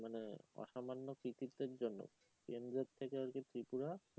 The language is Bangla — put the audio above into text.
অসামান্য কৃতিত্বের জন্য কেন্দ্রের থেকে আজকে ত্রিপুরা